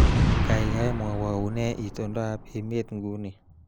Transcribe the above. Kaikai mwowo unee itondoab emet nguni